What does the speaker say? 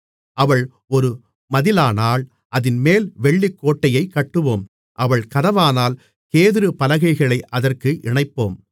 அவள் ஒரு மதிலானால் அதின்மேல் வெள்ளிக்கோட்டையைக் கட்டுவோம் அவள் கதவானால் கேதுருப்பலகைகளை அதற்கு இணைப்போம் மணவாளி